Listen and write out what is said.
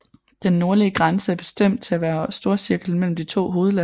Den nordlige grænse er bestemt til at være storcirklen mellem de to hovedland